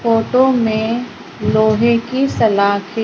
photo में लोहे की सलाखें--